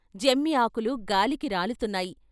జమ్మి ఆకులు గాలికి రాలుతున్నాయి.